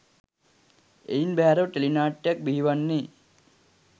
එයින් බැහැරව ටෙලිනාට්‍යයක් බිහිවන්නේ